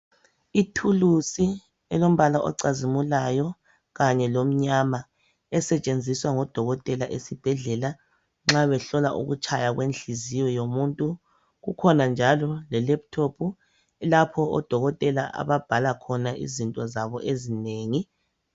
Ithulusi elombala ocazimulayo kanye lomnyama esetshenziswa ngodokotela esibhedlela nxa behlola ukutshaya kwenhliziyo yomuntu. Kukhona njalo le lephuthophu lapho odokotela ababhala khona izinto zabo ezinengi.